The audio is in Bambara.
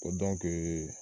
O